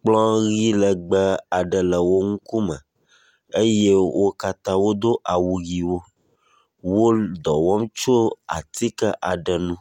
Kplɔ ʋi legbe aɖe le wo ŋkume eye wo katã wodo au ʋiwo. Wo dɔ wɔm tso atike aɖe ŋu.